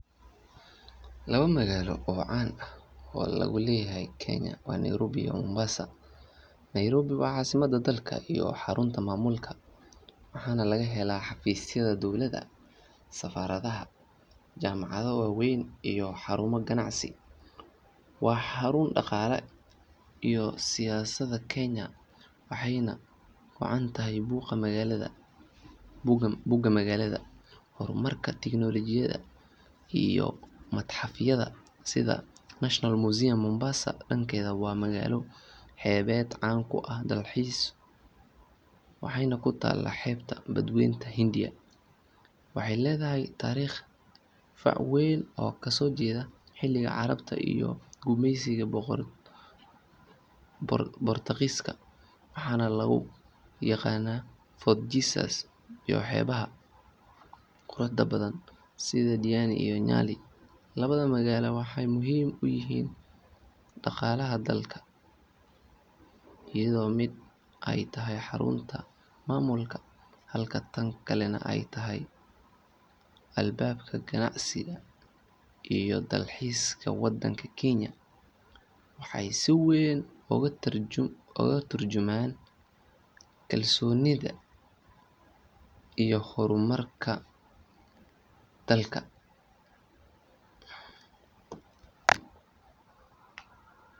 Laba magaalo oo caan ah oo laga leeyahay Kenya waa Nairobi iyo Mombasa. Nairobi waa caasimadda dalka iyo xarunta maamulka waxaana laga helaa xafiisyada dowladda, safaaradaha, jaamacado waaweyn iyo xarumo ganacsi. Waa xarun dhaqaalaha iyo siyaasadda Kenya waxayna caan ku tahay buuqa magaalada, horumarka tiknoolajiyadda iyo matxafyada sida National Museum. Mombasa dhankeeda waa magaalo xeebeed caan ku ah dalxiiska waxayna ku taallaa xeebta Badweynta Hindiya. Waxay leedahay taariikh fac weyn oo ka soo jeeda xilligii carabta iyo gumaysigii Boortaqiiska waxaana lagu yaqaannaa Fort Jesus iyo xeebaha quruxda badan sida Diani iyo Nyali. Labada magaalo waxay muhiim u yihiin dhaqaalaha dalka, iyadoo mid ay tahay xarunta maamulka halka tan kalena ay tahay albaabka ganacsiga iyo dalxiiska Kenya. Waxay si weyn uga tarjumaan kalsoonida iyo horumarka dalka.